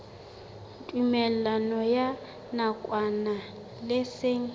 tumellano ya nakwana le seng